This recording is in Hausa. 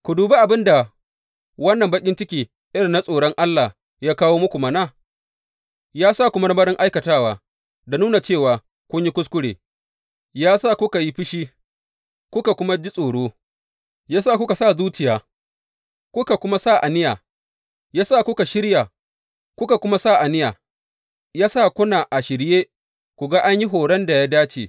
Ku dubi abin da wannan baƙin ciki irin na tsoron Allah ya kawo muku mana, ya sa ku marmarin aikatawa, da nuna cewa kun yi kuskure, ya sa kuka yi fushi, kuka kuma ji tsoro, ya sa kuka sa zuciya, kuka kuma sa aniya, ya sa kuna a shirye ku ga an yi horon da ya dace.